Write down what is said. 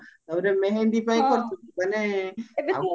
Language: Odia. ତାପରେ ମେହେନ୍ଦି ପାଇଁ ଖାର୍ଚ ମାନେ ଆଉ